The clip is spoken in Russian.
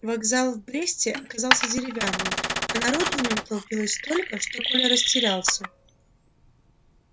вокзал в бресте оказался деревянным а народу в нём толпилось только что коля растерялся